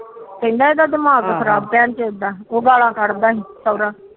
ਕਹਿੰਦਾ ਇਹਦਾ ਦਿਮਾਗ ਖਰਾਬ ਭੈਣ ਚੋਦ ਦਾ ਉਹ ਗਾਲਾ ਕਢਦਾ ਸੋਹਰਾ ਇਹਦਾ